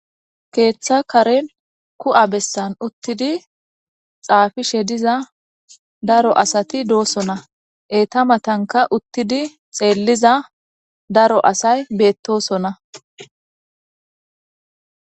Keeththa karen ku7a bessan uttidi xaafishe diza daro asati doosona eta matanka uttidi xeelliza daro asay beettosona.